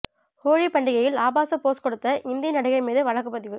ஹோலி பண்டிகையில் ஆபாச போஸ் கொடுத்த இந்தி நடிகை மீது வழக்குப்பதிவு